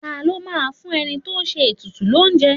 Ta ló máa ń fún ẹni tó ń ṣe ètùtù l'ounje?